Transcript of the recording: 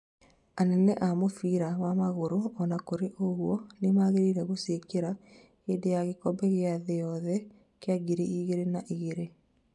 Anene a mũbira wa magũrũ ona kũrĩ ũguo, nĩmamagiririe gũciĩkĩra hĩndĩ ya gĩkombe kĩa thĩ yothe kĩa ngiri igĩrĩ na igĩrĩ